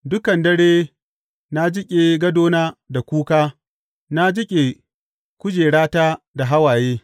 Dukan dare na jiƙe gadona da kuka na jiƙe kujerata da hawaye.